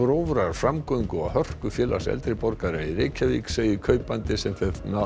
grófrar framgöngu og hörku Félags eldri borgara í Reykjavík segir kaupandi sem